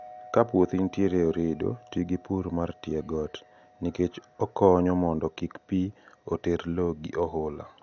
Kapuothi ntiere e orido, tii gi purr mar tiegot nikech okonyo mondo kik pii oterr loo gi ohula.